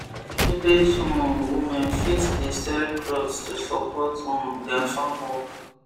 village um women fit the sell clothes to support um their farm work